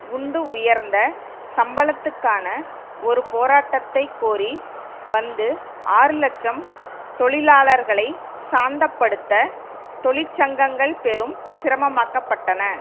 உண்டுஉயர்ந்த சம்பளத்துக்கான ஒரு போராட்டத்தை கோரி வந்து ஆறு இலட்சம் தொழிலாளர்களை சாந்தப்படுத்த தொழிற்சங்கங்கள் பெரும் சிரம மாக்கப்பட்டன